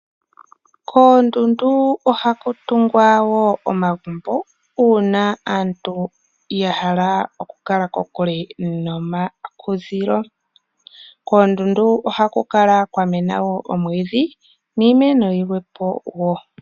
Koondundu ohaku tungwa wo omagumbo uuna aantu ya hala okukala kokule nomakudhilo. Koondundu ohaku kala kwa mena wo oomwiidhi niimeno yilwe wo.